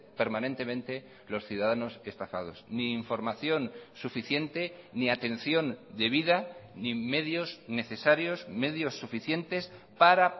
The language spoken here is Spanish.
permanentemente los ciudadanos estafados ni información suficiente ni atención debida ni medios necesarios medios suficientes para